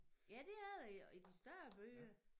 Ja det er det i i de større byer